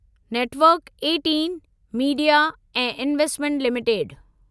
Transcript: network eighteen media ऐं investment limited